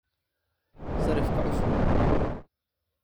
sarifka cusub